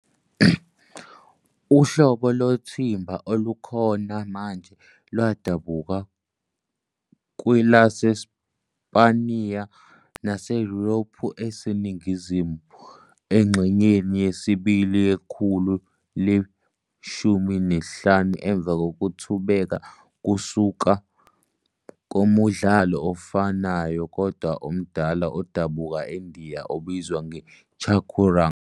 Uhlobo lothimba olukhona manje lwadabuka kwelaseSpaniya naseYurophu eseningizimu engxenyeni yesibili yekhulu le-15 emva kokuthubeka kusuka kumdlalo ofanayo kodwa omdala odabuka eNdiya obizwa "chaturanga".